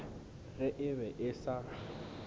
ge e be e sa